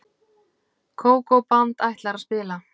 Kókó-band ætlar að spila.